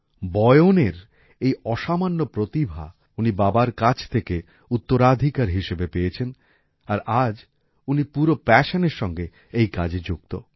বয়নের এই অসামান্য প্রতিভা উনি বাবার কাছ থেকে উত্তরাধিকার হিসাবে পেয়েছেন আর আজ উনি পুরো প্যাশনের সঙ্গে এই কাজে যুক্ত